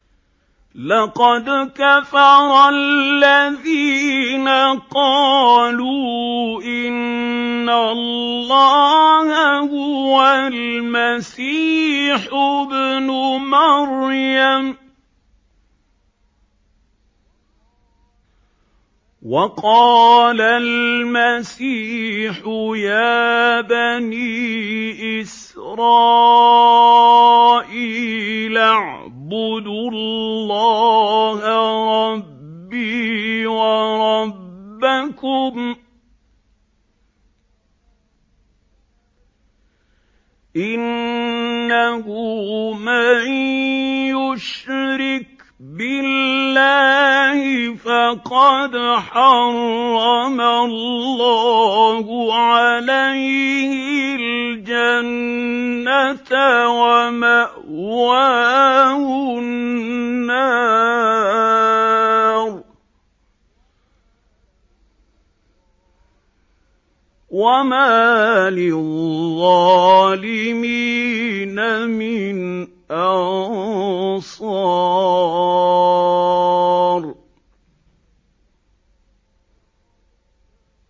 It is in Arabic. لَقَدْ كَفَرَ الَّذِينَ قَالُوا إِنَّ اللَّهَ هُوَ الْمَسِيحُ ابْنُ مَرْيَمَ ۖ وَقَالَ الْمَسِيحُ يَا بَنِي إِسْرَائِيلَ اعْبُدُوا اللَّهَ رَبِّي وَرَبَّكُمْ ۖ إِنَّهُ مَن يُشْرِكْ بِاللَّهِ فَقَدْ حَرَّمَ اللَّهُ عَلَيْهِ الْجَنَّةَ وَمَأْوَاهُ النَّارُ ۖ وَمَا لِلظَّالِمِينَ مِنْ أَنصَارٍ